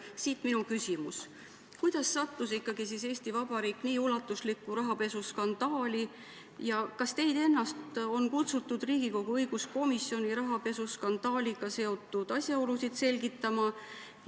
Siit minu küsimus: kuidas siis sattus ikkagi Eesti Vabariik nii ulatuslikku rahapesuskandaali ja kas teid ennast on kutsutud Riigikogu õiguskomisjoni rahapesuskandaaliga seotud asjaolusid selgitama?